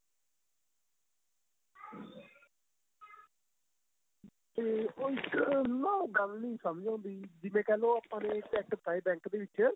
ਤੇ ਉਹ ਇੱਕ ਨਾ ਗੱਲ ਨਹੀਂ ਸਮਝ ਆਉਦੀ ਜਿਵੇਂ ਕਹਿਲੋ ਆਪਾਂ ਨੇ Cheque ਪਾਏ bank ਦੇ ਵਿੱਚ